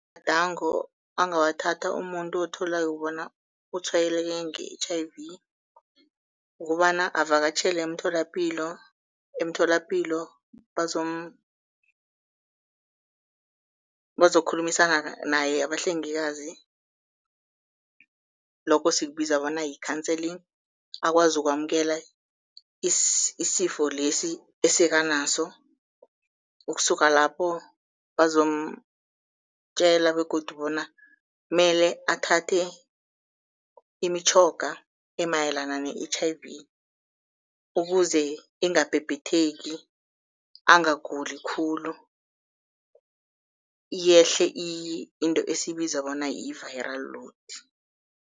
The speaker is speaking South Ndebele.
Amagadango angawathatha umuntu otholako bona utshwayeleke nge-H_I_V kobana avakatjhele emtholapilo, emtholapilo bazokhulumisana naye abahlengikazi, lokho sikubiza bona yi-counselling, akwazi ukwamukela isifo lesi esekanaso. Ukusuka lapho bazomtjela begodu bona mele athathe imitjhoga emayelana ne-H_I_V, ukuze ingabhibhitheki angaguli khulu yehle into esiyibiza bona yi-viral load.